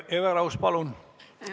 Hele Everaus, palun!